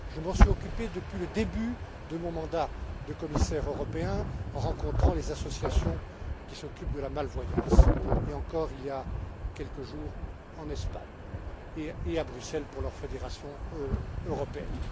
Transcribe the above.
Je m'en suis occupé depuis le début de mon mandat de commissaire européen en rencontrant les associations qui s'occupent de la malvoyance, et encore il y a quelques jours en Espagne et à Bruxelles leur Fédération européenne.